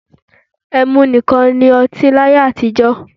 E̩mu nikan ni ọti ni aye atijọ